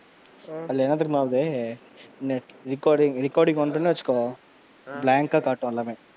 அதுல என்ன தெரியுமா? வருது recording வந்தோன்னு வச்சுக்கோ blank ஆ காட்டும் எல்லாம்.